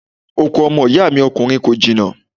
Oko ọmọ ìyá mi ọkùnrin kò jìnnà.